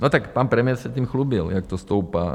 No tak pan premiér se tím chlubil, jak to stoupá.